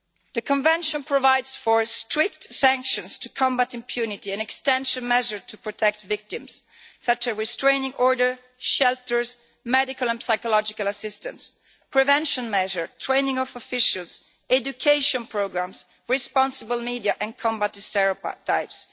The Convention provides for strict sanctions to combat impunity and extend measures to protect victims, such as restraining orders, shelters, medical and psychological assistance, prevention measures, training of officials, education programmes, responsible media and combating stereotypes.